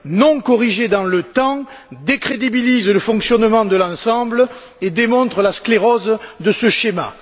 non corrigées dans le temps décrédibilise le fonctionnement de l'ensemble et démontre la sclérose de ce schéma.